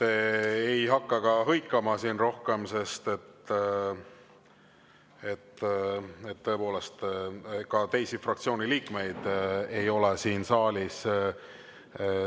Ma ei hakka teda siin rohkem hõikama, sest tõepoolest, ka teisi fraktsiooni liikmeid ei ole saalis.